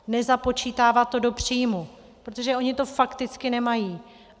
Nezapočítávat to do příjmu, protože oni to fakticky nemají.